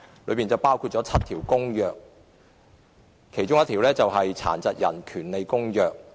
當中有7項公約，其中之一是《殘疾人權利公約》。